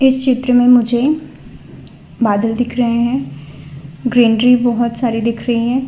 चित्र में मुझे बादल दिख रहे हैं ग्रीनरी बहुत सारी दिख रही हैं।